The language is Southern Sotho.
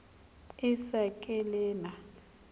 e sa le ke na